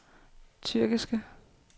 tyrkiske